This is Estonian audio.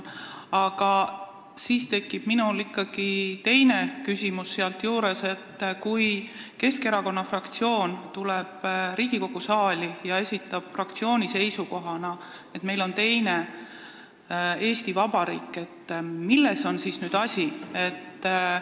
Aga ikkagi on küsimus: kui Keskerakonna fraktsioon tuleb Riigikogu saali ja esitab fraktsiooni seisukohana, et meil on teine Eesti Vabariik, siis milles on asi?